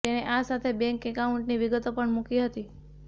તેણે આ સાથે બેન્ક એકાઉન્ટની વિગતો પણ મૂકી હતી